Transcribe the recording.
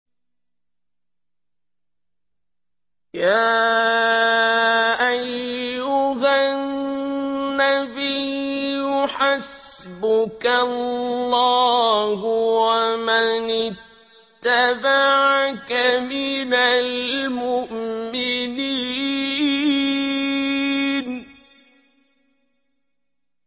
يَا أَيُّهَا النَّبِيُّ حَسْبُكَ اللَّهُ وَمَنِ اتَّبَعَكَ مِنَ الْمُؤْمِنِينَ